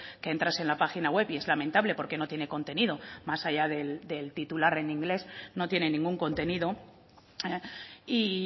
que entras en la página web y es lamentable porque no tiene contenido más allá del titular en inglés no tiene ningún contenido y